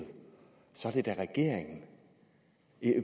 så er det da regeringen